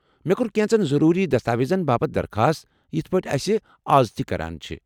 مےٚ كو٘ر كینژن ضروُری دستاویزن باپت درخاست یِتھ پٲٹھۍ اسہِ از تہِ کران چھِ ۔